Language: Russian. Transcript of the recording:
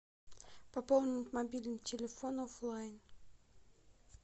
пополнить мобильный телефон офлайн